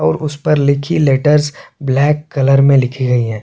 और उस पर लिखी लेटर ब्लैक कलर में लिखी गई हैं।